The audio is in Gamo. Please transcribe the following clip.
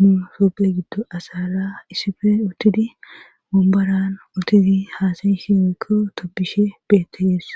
nu toopphe giddo asara isife uttidi wombaran uttidi haasayishe woykko tobbishe beettees.